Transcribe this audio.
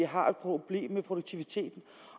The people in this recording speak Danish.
har et problem med produktiviteten